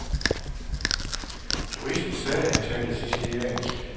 Turisten sagde, han talte siciliansk.